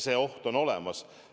See oht on olemas.